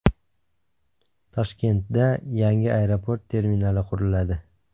Toshkentda yangi aeroport terminali quriladi .